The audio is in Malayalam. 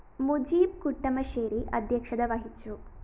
മുജീബ് കുട്ടമശ്ശേരി അദ്ധ്യക്ഷത വഹിച്ചു